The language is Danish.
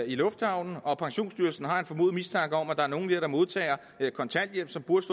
i lufthavnen og pensionsstyrelsen har en formodet mistanke om at det er nogle der modtager kontanthjælp og burde